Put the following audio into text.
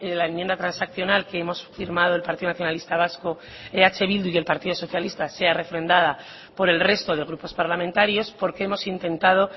la enmienda transaccional que hemos firmado el partido nacionalista vasco eh bildu y el partido socialista sea refrendada por el resto de grupos parlamentarios porque hemos intentado